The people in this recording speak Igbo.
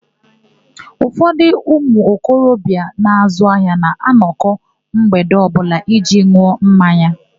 Ụfọdụ ụmụokorobịa na-azụ ahịa na-anọkọ mgbede ọbụla iji n̄ụọ mmanya.